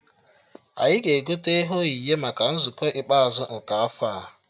Anyị ga-egote ihe onyinye maka nzukọ ikpeazụ nke afọ a